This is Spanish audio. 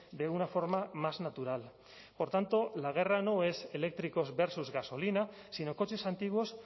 de una forma más natural por tanto la guerra no es eléctricos versus gasolina sino coches antiguos